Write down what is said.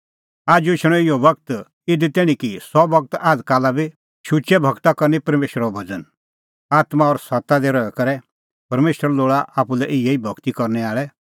आजू एछणअ इहअ बगत इधी तैणीं कि सह बगत आझ़काला बी शुचै भगता करनअ परमेशरो भज़न आत्मां और सत्ता दी रही करै परमेशर लोल़ा आप्पू लै इहै ई भगती करनै आल़ै